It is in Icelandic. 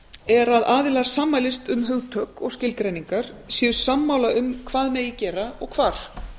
er að aðilar sammælist um hugtök og skilgreiningar séu sammála um hvað megi gera og hvar